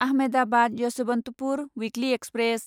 Ahmedabad Yesvantpur weekly express